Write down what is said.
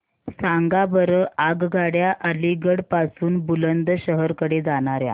सांगा बरं आगगाड्या अलिगढ पासून बुलंदशहर कडे जाणाऱ्या